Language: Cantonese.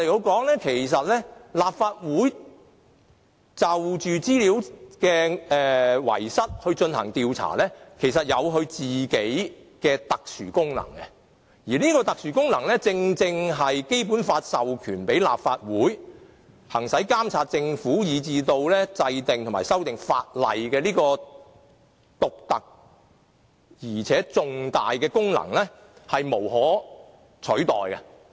換言之，立法會就資料遺失事件進行調查，其實有其特殊功能，而這個特殊功能，正正是《基本法》授權立法會行使監察政府，以至制定和修訂法例這種獨特而且重大的功能，是無可取代的。